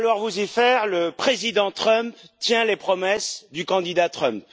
Il va falloir vous y faire, le président Trump tient les promesses du candidat Trump.